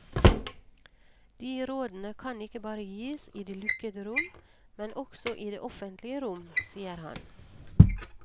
De rådene kan ikke bare gis i de lukkede rom, men også i det offentlige rom, sier han.